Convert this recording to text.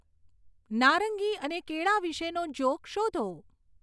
નારંગી અને કેળા વિશેનો જોક શોધો